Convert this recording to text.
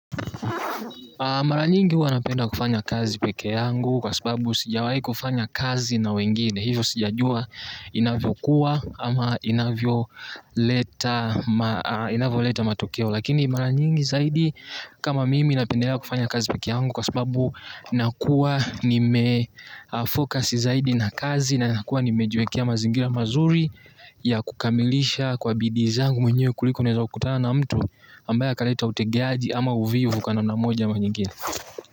Mara nyingi huwa napenda kufanya kazi peke yangu kwa sababu sijawai kufanya kazi na wengi. Hivyo sijajua inavyo kuwa ama inavyo leta matokeo. Lakini mara nyingi zaidi kama mimi napendelea kufanya kazi peke yangu kwa sababu nakuwa ni mefokasi zaidi na kazi na kuwa nimejiwekia mazingira mazuri ya kukamilisha kwa bidizangu mwenye kuliko neza ukutana na mtu ambaya kaleta utegiaji ama uvivu kana moja ama nyingine.